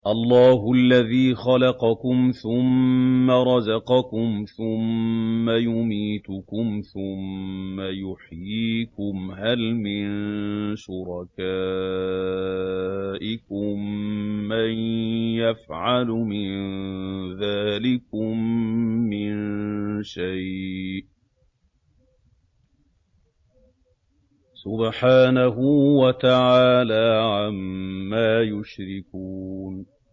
اللَّهُ الَّذِي خَلَقَكُمْ ثُمَّ رَزَقَكُمْ ثُمَّ يُمِيتُكُمْ ثُمَّ يُحْيِيكُمْ ۖ هَلْ مِن شُرَكَائِكُم مَّن يَفْعَلُ مِن ذَٰلِكُم مِّن شَيْءٍ ۚ سُبْحَانَهُ وَتَعَالَىٰ عَمَّا يُشْرِكُونَ